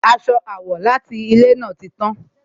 Aṣọ àwọ̀ láti ilè náà ti tán